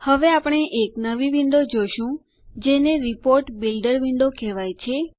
હવે આપણે એક નવી વિન્ડો જોશું જેને રીપોર્ટ બિલ્ડર વિન્ડો કહેવાય છે